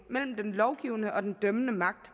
mellem den lovgivende og den dømmende magt